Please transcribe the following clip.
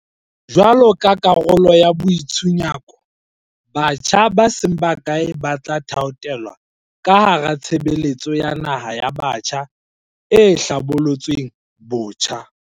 Jwaloka karolo ya boi tshunyako, batjha ba seng bakae ba tla thaothelwa ka hara Tshebeletso ya Naha ya Batjha e hlabolotsweng botjha.